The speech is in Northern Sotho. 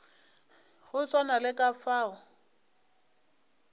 go swana le ka fao